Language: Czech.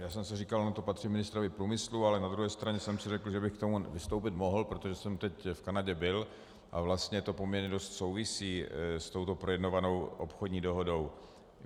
Já jsem si říkal, ono to patří ministrovi průmyslu, ale na druhé straně jsem si řekl, že bych k tomu vystoupit mohl, protože jsem teď v Kanadě byl a vlastně to poměrně dost souvisí s touto projednávanou obchodní dohodou.